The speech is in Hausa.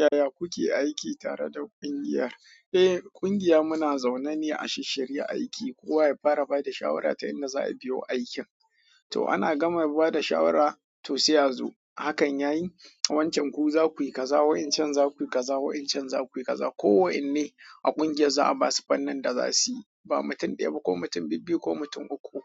Yaya kuke aiki tare da ƙungiyar? Eh, ƙungiya muna zaune ne a shishshirya aiki, kowa ya fara ba da shawara ta inda za a biyo aikin. To ana gama ba da shawara to sai a zo hakan yayi wancan ku za ku yi kaza, wa'incan za ku yi kaza, waɗancan za ku yi kaza. Ko wa'inne a ƙungiyar za a basu fannin da za suyi. Ba mutum ɗaya ba ko mutum bibbiyu ko mutum uku uku.